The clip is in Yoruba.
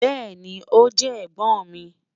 Bẹẹni, o jẹ ẹ̀gbọ́n mi.